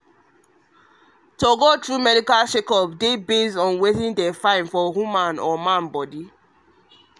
to go through medical checkup dey base on wetin them find for both the man the man and woman bodynormally